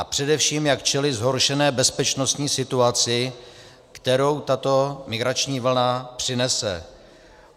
A především, jak čelit zhoršené bezpečnostní situaci, kterou tato migrační vlna přinese.